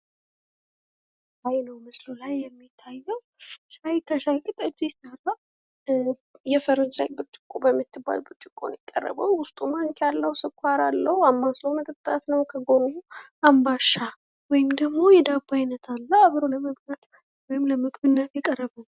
ምስሉ ላይ በሚታየው ሻይ ከሻይ ቅጠል የተሰራ የፈረንሳይ ብርጭቆ በምትባል ብርጭቆ ነው የቀረበው ውስጡ ማንኪያ አለው ስኳር አለው አማስሎ መጠጣት ነው ከጎኑ አምባሻ ወይም ደግሞ የዳቦ አይነት አለ። አብሮ ለመብላት ወይም ለምግብነት የቀረበ ነው።